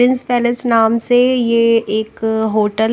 palace नाम से यह एक होटल --